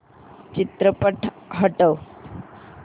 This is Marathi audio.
चित्रपट हटव